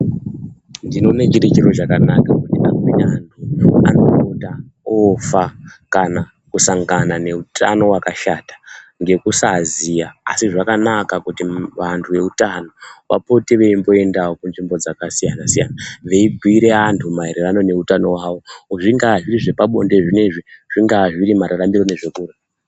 Ndinoone chiri chiro chakanaka kuti amweni antu anopota ofa kana kusangana ngeutano hwakashata ngekusaziva asi zvakanaka kuti vantu veutano vapotewo veimboindawo kunzvimbo dzakasiyana siyana veibhuyire antu maererano neutano hwawo. Zvingaa zviri zvepabonde zvinezvi, zvingaa zviri mararamiro nezvekurya.